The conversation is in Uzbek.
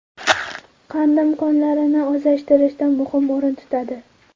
Qandim konlarini o‘zlashtirishda muhim o‘rin tutadi.